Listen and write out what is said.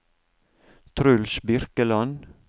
Truls Birkeland